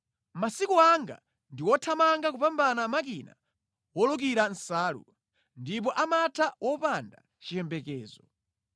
“Masiku anga ndi othamanga kupambana makina wolukira nsalu, ndipo amatha wopanda chiyembekezo.